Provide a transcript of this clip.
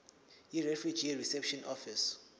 yirefugee reception office